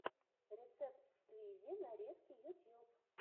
рецепт сквизи нарезки ютьюб